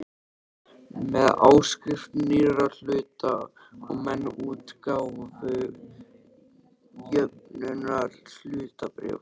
með áskrift nýrra hluta og með útgáfu jöfnunarhlutabréfa.